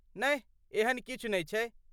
नहि, एहन किछु नै छै।